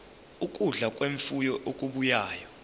ukudla kwemfuyo okubuya